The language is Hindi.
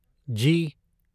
जी